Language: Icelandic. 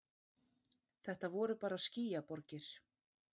Þetta voru bara skýjaborgir.